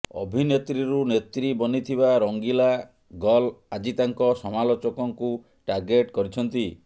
ଅଭିନେତ୍ରୀରୁ ନେତ୍ରୀ ବନିଥିବା ରଙ୍ଗିଲା ଗର୍ଲ ଆଜି ତାଙ୍କ ସମାଲୋଚକଙ୍କୁ ଟାର୍ଗେଟ କରିଛନ୍ତି